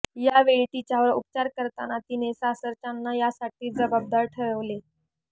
यावेळी तिच्यावर उपचार करताना तिने सासरच्यांना यासाठी जबाबदार ठरवले